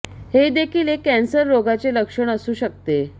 हे देखील एक कॅन्सर रोगाचे लक्षण असू शकते